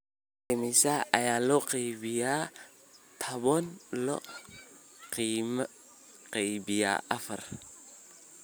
Imisa ayaa laba iyo toban loo qaybiyaa afar?